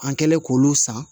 An kɛlen k'olu san